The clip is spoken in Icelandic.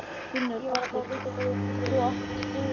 Gunnar Atli: Þú átt góðan pollagalla?